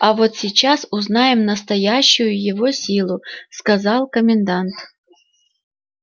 а вот сейчас узнаем настоящую его силу сказал комендант